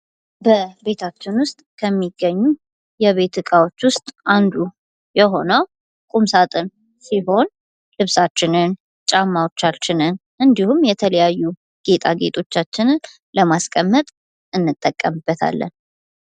በቤታችን ዉስጥ ከሚገኙ የቤት ዕቃዎች ዉስጥ አንዱ የሆነው ቁምሳጥን ሲሆን ልብሳችንን ጫማዎችንን እንዲሁም የተለያዩ ጌጣጌጦቻችንን ለማስቀመጥ እንጠቀምበታለን::